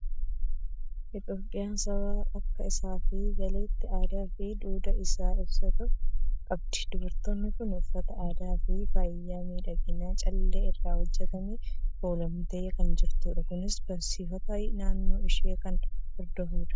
Itoophiyaan saba akka isaaf galetti aadaa fi duudhaa isaa ibsatu qabdi. Dubartiin kun uffata aadaa fi faaya miidhaginaa callee irraa hojjetamuun kuulamtee kan jirtudha. Kunis barsiifata naannoo ishee kan hordofudha.